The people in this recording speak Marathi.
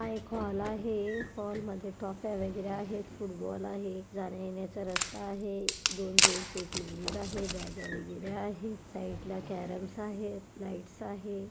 हा एक हॉल आहे. हॉलमध्ये ट्रॉफी वगैरे आहेत. फूटबॉल आहे. जाण्यायेण्याचा रस्ता आहे. दोन जेंट्स एक लेडिज आहे. बॅगा वगैरे आहेत. साइडला केरम्स आहेत. लाईट आहे.